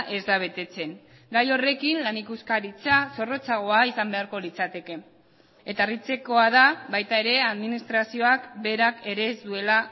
ez da betetzen gai horrekin lan ikuskaritza zorrotzagoa izan beharko litzateke eta harritzekoa da baita ere administrazioak berak ere ez duela